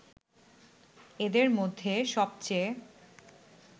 এদের মধ্যে সবচেয়ে